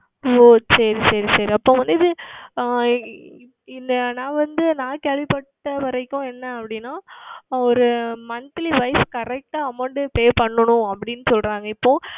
ஓ சரி சரி சரி இப்பொழுது வந்து இந்த நான் வந்து நான் கேள்வி பட்டவரைக்கும் என்ன அப்படி என்றால் ஓர் Monthly WiseCorrect ஆ Amount Pay பன்னனும்